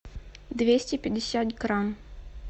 двести пятьдесят грамм